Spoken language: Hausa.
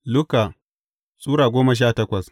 Luka Sura goma sha takwas